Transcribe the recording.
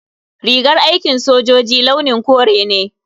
Rigar aikin sojoji launin kore ne.